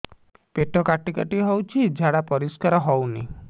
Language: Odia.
ପେଟ କାଟି କାଟି ହଉଚି ଝାଡା ପରିସ୍କାର ହଉନି